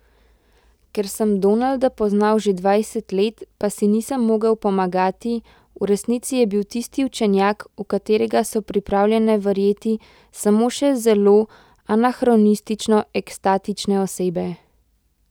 Ker sem Donalda poznal že dvajset let, pa si nisem mogel pomagati, v resnici je bil tisti učenjak, v katerega so pripravljene verjeti samo še zelo anahronistično ekstatične osebe.